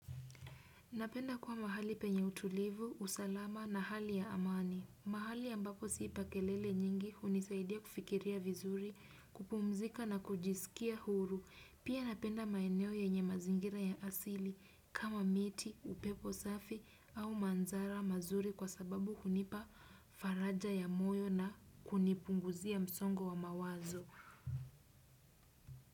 Napenda kuwa mahali penye utulivu, usalama na hali ya amani. Mahali ambapo siipa kelele nyingi hunisaidia kufikiria vizuri, kupumzika na kujisikia huru. Pia napenda maeneo yenye mazingira ya asili kama miti, upepo safi au manzara mazuri kwa sababu hunipa faraja ya moyo na kunipunguzia msongo wa mawazo.